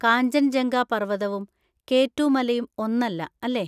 കാഞ്ചൻജംഗ പർവതവും K two മലയും ഒന്നല്ല, അല്ലേ?